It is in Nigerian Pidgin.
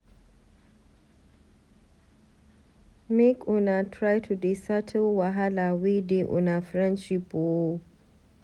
Make una try to dey settle wahala wey dey una friendship o.